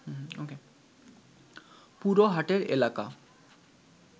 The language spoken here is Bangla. পুরো হাটের এলাকা